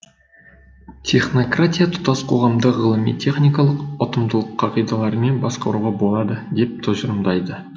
технократия тұтас қоғамды ғылыми техникалық ұтымдылық қағидаларымен басқаруға болады деп тұжырымдайды